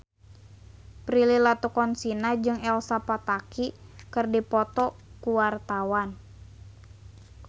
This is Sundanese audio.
Prilly Latuconsina jeung Elsa Pataky keur dipoto ku wartawan